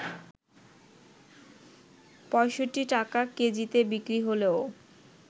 ৬৫ টাকা কেজিতে বিক্রি হলেও